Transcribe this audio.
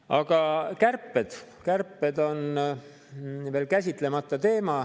Aga kärped on veel käsitlemata teema.